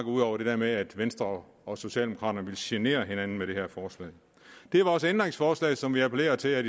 ud over det der med at venstre og socialdemokraterne ville genere hinanden med det her forslag det er vores ændringsforslag som vi appellerer til at